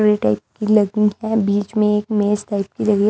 Type की लगी है बीच में एक मेस टाइप की है।